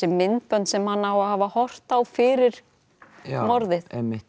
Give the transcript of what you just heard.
myndbönd sem hann á að hafa horft á fyrir morðið